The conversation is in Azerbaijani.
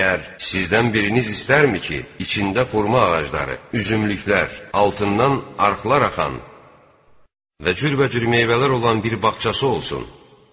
Məyər sizdən biriniz istərmi ki, içində xurma ağacları, üzümlüklər, altından arxlar axan və cürbəcür meyvələr olan bir bağçası olsun.